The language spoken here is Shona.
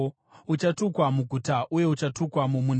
Uchatukwa muguta uye uchatukwa mumunda.